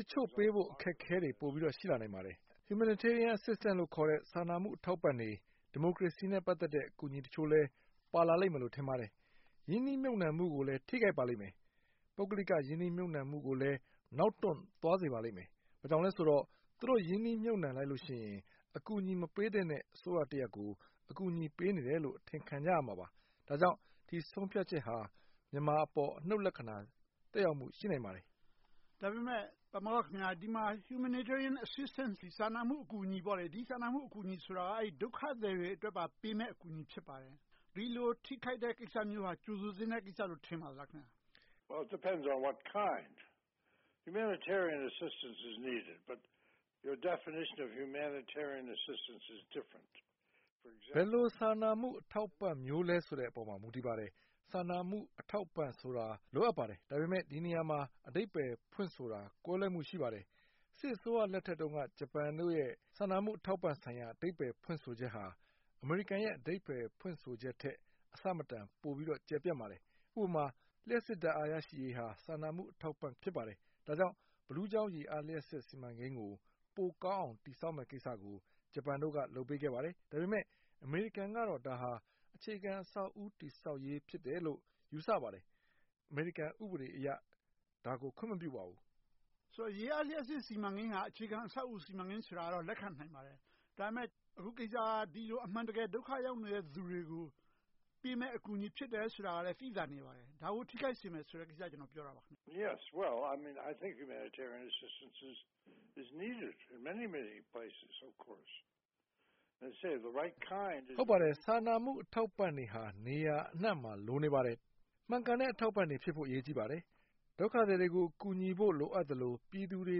တချို့ပေးဖို့ အခက်အခဲတွေ ပိုပြီးတော့ ရှိလာနိုင်ပါတယ်။ Humanitarian Assistance လို့ခေါ်တဲ့ စာနာမှုအထောက်အပံ့တွေ၊ ဒီမိုကရေစီနဲ့ ပတ်သက်တဲ့ ကူညီထောက်ပံ့မှုတချို့လည်း ပါလာလိမ့်မယ်လို့ ထင်ပါတယ်။ ရင်းနှီးမြုပ်နံှမှုကိုလည်း ထိခိုက်ပါလိမ့်မယ်။ ပုဂ္ဂလိကရင်းနှီးမြုပ်နံှမှုကိုလည်း နောက်တွန့်သွားစေပါလိမ့်မယ်။ ဘာကြောင့်လဲဆိုတော့ သူတို့ရင်းနှီးမြုပ်နံှလိုက်လို့ရှိရင် အကူအညီမပေးသင့်တဲ့ အစိုးရတရပ်ကို အကူအညီပေးနေတယ်လို့ အထင်ခံရမှာပါ။ ဒါကြောင့် ဒီဆုံးဖြတ်ချက်ဟာ မြန်မာအပေါ် အနုတ်လက္ခဏာ သက်ရောက်မှု ရှိနိုင်ပါတယ်။ ဒါပေမဲ့ ဒီနေရာမှာ Humanitarian Assistance စာနာမှုအကူအညီဆိုတာ ဒုက္ခသည်တွေအတွက်ပါပေးမယ့် အကူအညီ ဖြစ်ပါတယ်။ ဒီလိုထိခိုက်တဲ့ကိစ္စမျိုးဟာ ကြိုဆိုသင့်တဲ့ကိစ္စလို့ ထင်ပါသလား။ ဘယ်လိုစာနာမှု အထောက်အပံ့မျိုးလဲဆိုတဲ့အပေါ် မူတည်ပါတယ်။ စာနာမှုအထောက်အပံ့ဆိုတာ လိုအပ်ပါတယ်။ ဒါပေမဲ့ ဒီနေရာမှာ အဓိပ္ပါယ်ဖွင့်ဆိုတာ ကွဲလွဲမှု ရှိပါတယ်။ စစ်အစိုးရလက်ထက်တုန်းက ဂျပန်တို့ရဲ့ စာနာမှုအထောက်အပံ့ဆိုင်ရာ အဓိပ္ပယ်ဖွင့်ဆိုချက်ဟာ အမေရိကန်ရဲ့ အဓိပ္ပါယ်ဖွင့်ဆိုချက်ထက် အဆမတန် ပိုပြီးတော့ကျယ်ပြန့်ပါတယ်။ ဥပမာ လျှပ်စစ်ဓါတ်အားရရှိရေးဟာ စာနာမှုအထောက်အပံ့ ဖြစ်ပါတယ်။ ဒါကြောင့် ဘီးလူးချောင်းရေအားလျှပ်စစ် စီမံကိန်းကို ပိုကောင်းအောင် တည်ဆောက်မယ့်ကိစ္စကို ဂျပန်တို့က လုပ်ပေးခဲ့ပါတယ်။ ဒါပေမဲ့ အမေရိကန်ကတော့ ဒါဟာ အခြေခံအဆောက်အဦးတခု တည်ဆောက်ရေးဖြစ်တယ်လို့ ယူဆပါတယ်။ အမေရိကန် ဥပဒေအရ ဒါကိုခွင့်မပြုပါဘူး။ ရေအားလျှပ်စစ်စီမံကိန်းဟာ အခြေခံအဆောက်အအုံ စီမံကိန်းဆိုတာ လက်ခံနိုင်ပါတယ်။ ဒါပေမဲ့ အခုကိစ္စက ဒီလိုအမှန်တကယ် ဒုက္ခရောက်နေတဲ့ လူတွေကို ပေးမယ့်အကူအညီ ဖြစ်တယ်ဆိုတာကလည်း သိသာနေပါတယ်။ ဒါကို ထိခိုက်စေမယ့်ကိစ္စကို ကျနော်က ပြောတာပါ။ ဟုတ်ပါတယ် စာနာမှုအထောက်အပံ့တွေဟာ နေရာအနံှမှာ လိုနေပါတယ်။ မှန်ကန်တဲ့ အထောက်အပံ့တွေဖြစ်ဖို့ အရေးကြီးပါတယ်။ ဒုက္ခသည်တွေကို ကူညီဖို့ လိုအပ်သလို၊ ပြည်သူတွေ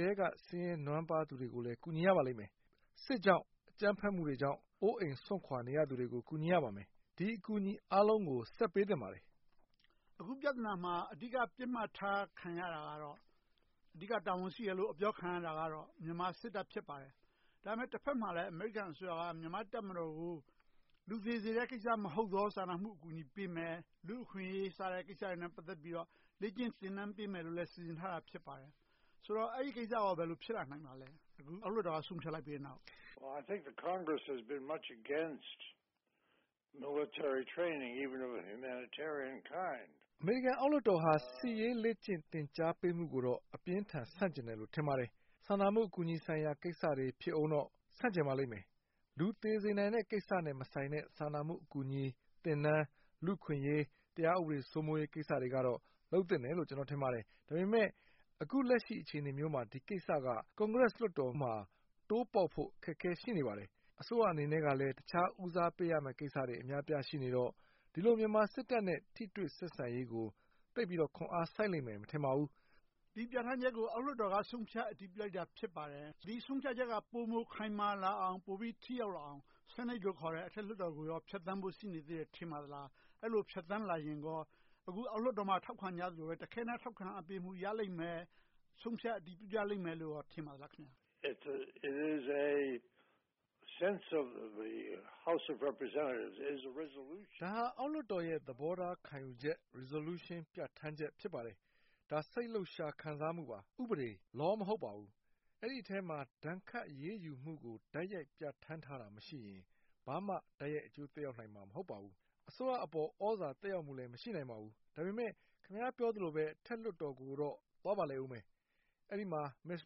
ထဲက ဆင်းရဲနွမ်းပါးသူတွေကိုလည်း ကူညီရပါလိမ့်မယ်။ စစ်ကြောင့်၊ အကြမ်းဖက်မှုတွေကြောင့် အိုးအိမ်စွန့်ခွါနေသူတွေကို ကူညီရပါမယ်။ ဒီအကူအညီအားလုံးကို ဆက်ပေးသင့်ပါတယ်။ အခုပြဿနာမှာ အဓိက ပစ်မှတ်ထားခံရတာကတော့ အဓိကတာဝန်ရှိတယ်လို့ အပြောခံရတာကတော့ မြန်မာစစ်တပ် ဖြစ်ပါတယ်။ ဒါပေမဲ့ တဘက်မှာလဲ အမေရိကန်အစိုးရ မြန်မာ့တပ်မတော်ကို လူသေစေတဲ့ကိစ္စမဟုတ်သော စာနာမှုအကူအညီပေးမယ်။ လူ့အခွင့်အရေးကိစ္စတွေနဲ့ ပတ်သက်ပြီးတော့ လေ့ကျင့်သင်တန်းပေးမယ်လို့လည်း စီစဉ်ထားတာ ဖြစ်ပါတယ်။ ဆိုတော့ အဲဒီကိစ္စကော ဘယ်လိုဖြစ်လာနိုင်ပါလဲ။ အောက်လွှတ်တော်က ဆုံးဖြတ်လိုက်ပြီနောက်။ အမေရိကန်အောက်လွှတ်တော်ဟာ စစ်ရေးလေ့ကျင့်သင်ကြားပေးမှုကိုတော့ အပြင်းအထန် ဆန့်ကျင်တယ်လို့ ထင်ပါတယ်။ စာနာမှုအကူအညီဆိုင်ရာ ကိစ္စတွေ ဖြစ်ပါစေ ဆန့်ကျင်ပါလိမ့်မယ်။ လူသေစေနိုင်တဲ့ကိစ္စနဲ့မဆိုင်တဲ့ စာနာမှုအကူအညီ၊ သင်တန်း၊ လူ့အခွင့်အရေး၊ တရားဥပဒေစိုးမိုးရေးကိစ္စတွေကတော့ လုပ်သင့်တယ်လို့ ကျနော်ထင်ပါတယ်။ ဒါပေမဲ့ အခုလက်ရှိ အခြေအနေမျိုးမှာ ဒီကိစ္စက ကွန်ဂရက်လွှတ်တော်မှာ တိုးပေါက်ဖို့ အခက်အခဲ ရှိနေပါတယ်။ အစိုးရအနေနဲ့ အခြားဦးစားပေးရမယ့် ကိစ္စတွေအများအပြား ရှိနေတော့ ဒီလိုမြန်မာစစ်တပ်နဲ့ ထိတွေ့ဆက်ဆံရေးကို သိပ်ပြီးတော့ ခွန်အားစိုက်လိမ့်မယ် မထင်ပါဘူး။ ဒီပြဌာန်းချက်ကို အောက်လွှတ်တော်က ဆုံးဖြတ်အတည်ပြုလိုက်တာ ဖြစ်ပါတယ်။ ဒီဆုံးဖြတ်ချက်က ပိုမိုခိုင်မာလာအောင်၊ ပိုမိုထိရောက်လာအောင် ဆီနိတ်လို့ခေါ်တဲ့ အထက်လွှတ်တော်ကို ဖြတ်သန်းဖို့ ရှိနေသေးတယ်လို့ ထင်ပါသလား။ အဲဒီလို ဖြတ်သန်းလာရင်ကော အခု အောက်လွှတ်တော်မှာ ထောက်ခံကြသလိုပဲ တခဲနက်ထောက်ခံအားပေးမှု ရလိမ့်မယ်၊ ဆုံးဖြတ်အတည်ပြုကြလိမ့်မယ်လို့ ထင်ပါသလား။ ဒါက အောက်လွှတ်တော်ရဲ့ သဘောထား ခံယူချက် Resolution ပြဌာန်းချက် ဖြစ်ပါတယ်။ ဒါ စိတ်လှုပ်ရှားခံစားမှုပါ။ ဥပဒေ Law မဟုတ်ပါဘူး။ အဲဒီအထဲမှာ ဒဏ်ခတ်အရေးယူမှုကို တိုက်ရိုက်ပြဌာန်းထားတာ မရှိရင် ဘာမှတိုက်ရိုက်အကျိုးသက်ရောက်နိုင်စရာ မရှိပါဘူး။ အစိုးရအပေါ် သြဇာသက်ရောက်မှုလည်း မရှိနိုင်ပါဘူး။ ဒါပေမဲ့ ခင်များပြောသလိုပဲ အထက်လွှတ်တော်ကိုတော့ သွားပါလိမ့်အုံးမယ်။ အဲဒီမှာ Mitch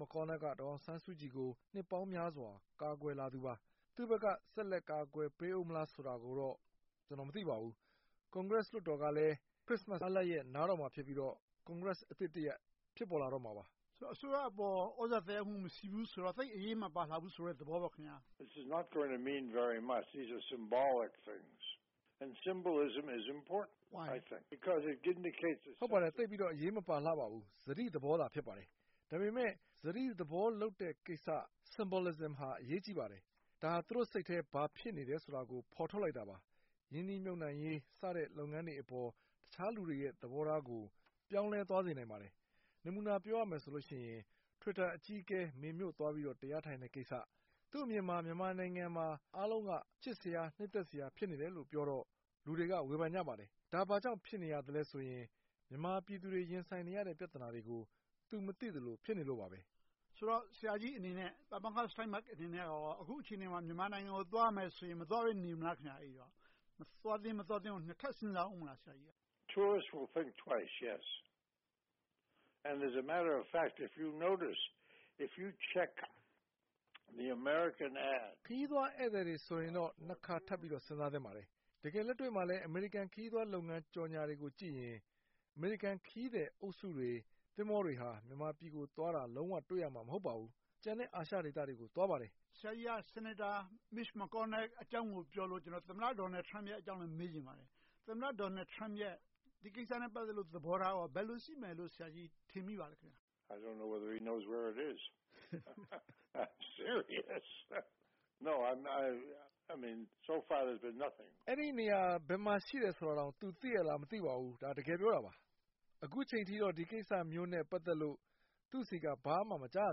McConnell က ဒေါ်အောင်ဆန်းစုကြည်ကို နှစ်ပေါင်းများစွာ ကာကွယ်လာသူပါ။ သူဘက်က ဆက်လက်ပြီး ကာကွယ်ပေးအုံးမလားဆိုတာကိုတော့ ကျနော် မသိပါဘူး။ Congress လွှတ်တော်ကလည်း ခရစ်စမတ်အားလပ်ရက် နားတော့မှာ ဖြစ်ပြီးတော့ Congress အသစ်တရပ် ဖြစ်ပေါ်လာတော့မှာပါ။ ဆိုတော့ အစိုးရပေါ် သြဇာသက်ရောက်မှု မရှိဘူးဆိုတော့ သိပ်အရေးမပါလှဘူး ဆိုတဲ့သဘောပေါ့။ ဟုတ်ပါတယ် သိပ်ပြီးတော့ အရေးမပါလှပါဘူး။ စတိသဘောသာ ဖြစ်ပါတယ်။ ဒါပေမဲ့ စတိသဘော လုပ်တဲ့ကိစ္စ Symbolism ဟာ အရေးကြီးပါတယ်။ ဒါဟာ သူတို့စိတ်ထဲ ဘာဖြစ်နေသလဲဆိုတာကို ဖော်ထုတ်လိုက်တာပါ။ ရင်းနှီးမြုပ်နံှရေးစတဲ့ လုပ်ငန်းတွေအပေါ် တခြားလူတွေရဲ့ သဘောထားကို ပြောင်းလဲသွားစေနိုင်ပါတယ်။ နမူနာပြောရမယ်ဆိုရင် Twitter အကြီးအကဲ မေမြို့သွားပြီးတော့ တရားသွားထိုင်တဲ့ကိစ္စ။ သူ့အမြင်မှာ မြန်မာနိုင်ငံမှာ အားလုံးက ချစ်စရာ၊ နှစ်သက်စရာ ဖြစ်နေတယ်လို့ပြောတော့ လူတွေက ဝေဖန်ကြပါတယ်။ ဒါဘာကြောင့် ဖြစ်နေရသလဲဆိုရင် မြန်မာပြည်သူတွေ ရင်ဆိုင်နေရတဲ့ ပြဿနာတွေကို သူမသိသလို ဖြစ်နေလို့ပါ။ ဆိုတော့ ဆရာကြီးအနေနဲ့ ပါမောက္ခ Steinberg အနေနဲ့ အခုအခြေအနေမှာ မြန်မာနိုင်ငံကို သွားရမယ်ဆိုရင် မသွားဘဲ နေမလား။ သွားသင့်မသွားသင့်ကို ထပ်စဉ်းစားအုံးမလား။ ခရီးသွားဧည့်သည်တွေဆိုရင်တော့ နှစ်ခါထပ်ပြီးတော့ စဉ်းစားသင့်ပါတယ်။ တကယ်လက်တွေ့မှာလဲ အမေရိကန်ခရီးသွား ကြော်ငြာတွေကိုကြည့်ရင် အမေရိကန်ခရီးသည်အုပ်စုတွေ သင်္ဘောတွေဟာ မြန်မာပြည်ကိုသွားတာ လုံးဝတွေ့ရမှာ မဟုတ်ပါဘူး။ ကျန်တဲ့ အာရှဒေသတွေကို သွားပါတယ်။ ဆရာကြီးက ဆီနိတ်တာ Mitch McConnell အကြောင်းကိုပြောလို့ ကျနော်က သမ္မတ Donald Trump အကြောင်းကို မေးချင်ပါတယ်။ သမ္မတ Donald Trump ရဲ့ ဒီကိစ္စနဲ့ ပတ်သက်တဲ့ သဘောထားက ဘယ်လိုရှိမယ်လို့ ဆရာကြီး ထင်မိပါလဲ။ အဲဒီနေရာ ဘယ်မှာရှိတယ်ဆိုတာကိုတောင် သူသိရဲ့လား မသိပါဘူး။ ဒါက တကယ်ပြောတာပါ။ အခုအချိန်ထိတော့ ဒီကိစ္စမျိုးနဲ့ ပတ်သက်လို့ သူ့ဆီက ဘာမှမကြားရ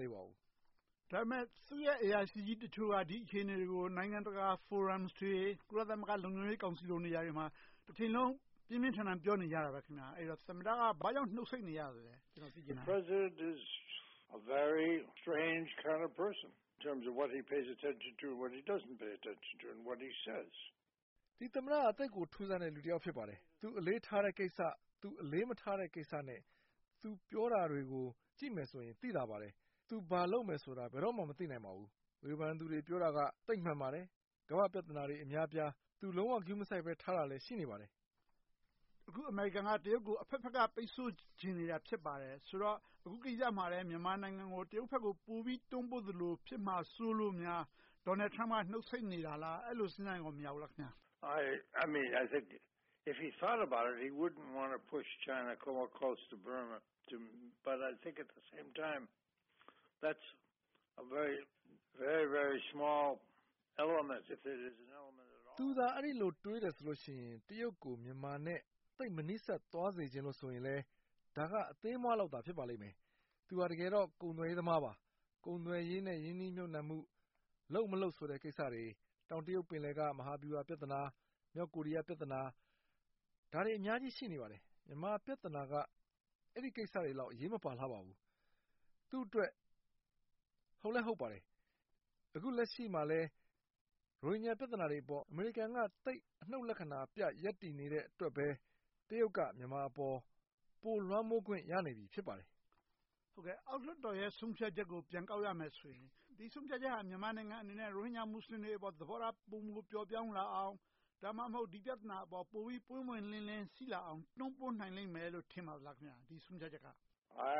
သေးပါဘူး။ ဒါပေမဲ့ သူ့ရဲ့ အရာရှိကြီးတချို့က ဒီအခြေအနေတွေကို နိုင်ငံတကာဖိုရမ်တွေ၊ ကုလသမဂ္ဂလုံခြုံရေးကောင်စီနေရာတွေမှာ တချိန်လုံး ပြင်းပြင်းထန်ထန် ပြောနေကြတယ်ဆိုတော့ သမ္မတက ဘာကြောင့် နှုတ်ဆိတ်နေရလဲ။ ဒီသမ္မတက သိပ်ကိုထူးဆန်းတဲ့ လူတယောက် ဖြစ်ပါတယ်။ သူအလေးထားတဲ့ကိစ္စ၊ သူအလေးမထားတဲ့ကိစ္စနဲ့ သူပြောတာတွေကို ကြည့်မယ်ဆိုရင် သိသာပါတယ်။ သူ ဘာလုပ်မယ်ဆိုတာ ဘယ်တော့မှ မသိနိုင်ပါဘူး။ ဝေဖန်သူတွေ ပြောတာက သိပ်မှန်ပါတယ်။ ကမ္ဘာ့ပြဿနာတွေ အများအပြား သူလုံးဝ ဂရုမစိုက်ဘဲထားတာတွေ ရှိနေပါတယ်။ အခု အမေရိကန်က တရုတ်ကို အဘက်ဘက်က ပိတ်စို့ချင်နေတာ ဖြစ်ပါတယ်။ ဆိုတော့ အခုကိစ္စမှာလဲ မြန်မာနိုင်ငံကို တရုတ်ဘက်ကို ပိုပြီးတွန်းပို့သလို ဖြစ်မှာစိုးလို့များ Donald Trump က နှုတ်ဆိတ်နေတာလား - အဲဒီလို စဉ်းစားရင်ကော မရဘူးလား။ သူသာ အဲဒီလိုတွေးတယ်ဆိုလို့ရှိရင် တရုတ်ကို မြန်မာနဲ့ သိပ်မနီးစပ်သွားစေချင်တယ်ဆိုရင် ဒါက အသေးအမွှားလောက်သာ ဖြစ်ပါလိမ့်မယ်။ သူက တကယ်တော့ ကုန်သွယ်ရေးသမားပါ။ ကုန်သွယ်ရေးနဲ့ ရင်းနှီးမြုပ်နံှမှု လုပ်မလုပ်ဆိုတဲ့ကိစ္စတွေ၊ တောင်တရုတ်ပင်လယ်က မဟာဗျူဟာပြဿနာ၊ မြောက်ကိုရီးယားပြဿနာ ဒါတွေအများကြီး ရှိနေပါတယ်။ မြန်မာပြဿနာက အဲဒီကိစ္စတွေလောက် အရေးမပါလှပါဘူး။ သူ့အတွက် ဟုတ်လည်းဟုတ်ပါတယ် - အခုလက်ရှိမှာလဲ ရိုဟင်ဂျာပြဿနာတွေအပေါ် အမေရီကန်က သိပ်အနုတ်လက္ခဏာပြ ရပ်တည်နေတဲ့အတွက်ပဲ တရုတ်က မြန်မာအပေါ် ပိုလွှမ်းမိုးခွင့် ရနေပြီ ဖြစ်ပါတယ်။ အောက်လွှတ်တော်ရဲ့ ဆုံးဖြတ်ချက်ကို ပြန်ကောက်ရမယ်ဆိုရင် ဒီဆုံးဖြတ်ချက်ဟာ မြန်မာနိုင်ငံအနေနဲ့ ရိုဟင်ဂျာမူစလင်တွေအပေါ် သဘောထား ပိုမိုပျော့ပျောင်းလာအောင် ဒါမှမဟုတ် ဒီပြဿနာအပေါ် ပိုပြီးပွင့်ပွင့်လင်းလင်း ရှိလာအောင် တွန်းပို့နိုင်လိမ့်မယ်လို့ ထင်ပါသလား - ဒီဆုံးဖြတ်ချက်က။ အဲ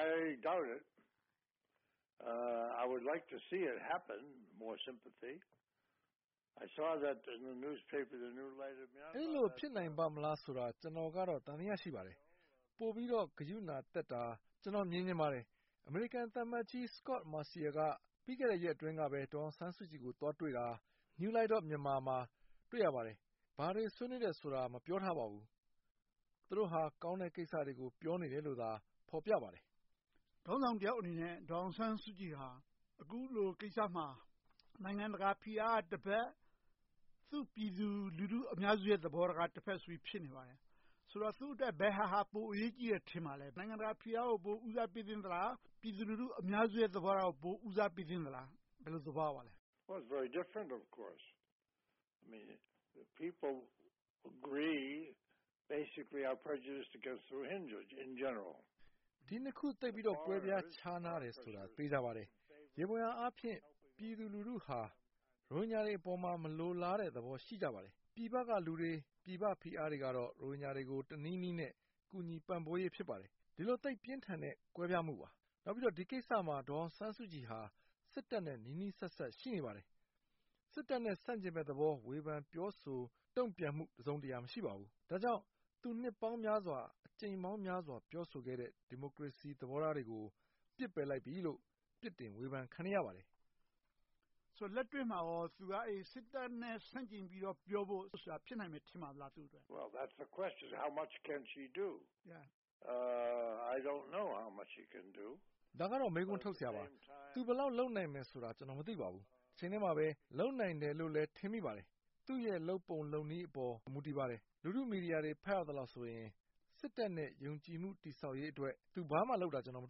ဒီလို ဖြစ်နိုင်ပါ့မလားဆိုတာကိုတော့ ကျနော်က သံသယ ရှိနေပါတယ်။ ပိုပြီးတော့ ဂရုဏာသက်တာကို ကျနော် မြင်ချင်ပါတယ်။ အမေရိကန်သံအမတ်ကြီး Scot Marciel က ပြီးခဲ့တဲ့ရက်အတွင်းကပဲ ဒေါ်အောင်ဆန်းစုကြည်ကို သွားတွေ့တာ၊ New Light of Myanmar မှာ တွေ့ရပါတယ်။ ဘာတွေဆွေးနွေးတယ်ဆိုတာ မပြောထားပါဘူး။ သူတို့ဟာ ကောင်းတဲ့ကိစ္စတွေကို ပြောနေတယ်လို့သာ ဖော်ပြထားပါတယ်။ ခေါင်းဆောင်တယောက်အနေနဲ့ ဒေါ်အောင်ဆန်းစုကြည်ဟာ အခုလိုကိစ္စမှာ နိုင်ငံတကာဖိအားကတဘက်၊ သူ့ပြည်သူလူထုအများစုကတဘက်ဆိုပြီး ဖြစ်နေပါတယ်။ ဆိုတော့ သူ့အတွက် ဘယ်ဟာက ပိုပြီးတော့ အရေးကြီးတယ် ထင်ပါသလဲ။ နိုင်ငံတကာဖိအားကို ပိုပြီးတော့ ဦးစားပေသင့်သလား။ ပြည်သူလူထုအများစုရဲ့ သဘောထားကို ပိုပြီးဦးစားပေးသင့်သလား။ ဘယ်လိုသဘောရပါသလဲ။ ဒီနှစ်ခု သိပ်ပြီးတော့ ကွဲပြားခြားနားတယ်ဆိုတာ သေချာပါတယ်။ ယေဘုယျအားဖြင့် ပြည်သူလူထုဟာ ရိုဟင်ဂျာတွေအပေါ်မှာ မလိုလားတဲ့သဘော ရှိကြပါတယ်။ ပြည်ပကလူတွေ၊ ပြည်ပဖိအားတွေကတော့ ရိုဟင်ဂျာတွေကို တနည်းနည်းနဲ့ ကူညီပံ့ပိုးရေး ဖြစ်ပါတယ်။ ဒီလို သိပ်ပြင်းထန်တဲ့ ကွဲပြားမှုပါ။ နောက်ပြီးတော့ ဒီကိစ္စမှာ ဒေါ်အောင်ဆန်းစုကြည်ဟာ စစ်တပ်နဲ့ နီးနီးစပ်စပ် ရှိနေပါတယ်။ စစ်တပ်နဲ့ ဆန့်ကျင်တဲ့သဘော၊ ဝေဖန်ပြောဆို တုံ့ပြန်မှု တစုံတရာ မရှိပါဘူး။ ဒါကြောင့် သူနှစ်ပေါင်းများစွာ၊ အကြိမ်ပေါင်းများစွာ ပြောဆိုခဲ့တဲ့ ဒီမိုကရေစီသဘောထားတွေကို ပစ်ပယ်လိုက်ပြီလို့ ပြစ်တင်ဝေဖန်ခံနေရပါတယ်။ ဆိုတော့ လက်တွေ့မှာကော သူက စစ်တပ်နဲ့ ဆန့်ကျင်ပြီးတော့ ပြောဖို့ဆိုတာ ဖြစ်နိုင်ပါသလား။ ဒါကတော့ မေးခွန်းထုတ်စရာပါ။ သူ ဘယ်လောက်လုပ်နိုင်မလဲဆိုတာ ကျနော် မသိပါဘူး။ တချိန်တည်းမှာပဲ လုပ်နိုင်တယ်လို့လည်း ထင်မိပါတယ်။ သူ့ရဲ့ လုပ်ပုံလုပ်နည်းအပေါ် မူတည်ပါတယ်။ လူထုမီဒီယာတွေ ဖတ်ရသလောက်ဆိုရင် စစ်တပ်နဲ့ ယုံကြည်မှု တည်ဆောက်ရေးအတွက် သူဘာမှလုပ်တာ မ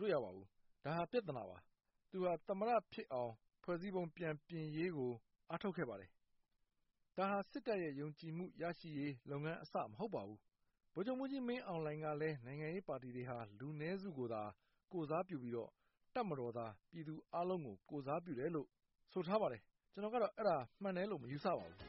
တွေ့ရပါဘူး။ ဒါဟာ ပြဿနာပါ။ သူဟာ သမ္မတဖြစ်အောင် ဖွဲ့စည်းပုံ ပြန်ပြင်ရေးကို အားထုတ်ခဲ့ပါတယ်။ ဒါဟာ စစ်တပ်ရဲ့ ယုံကြည်မှု ရရှိရေးလုပ်ငန်းအစ မဟုတ်ပါဘူး။ ဗိုလ်ချုပ်မှူးကြီးမင်းအောင်လှိုင်ကလည်း နိုင်ငံရေးပါတီတွေဟာ လူနည်းစုကိုသာ ကိုယ်စားပြုပြီးတော့ တပ်မတော်သာ ပြည်သူအားလုံးကို ကိုယ်စားပြုတယ်လို့ ဆိုထားပါတယ်။ ကျနော်ကတော့ အဲဒါမှန်တယ်လို့တော့ မယူဆပါဘူး။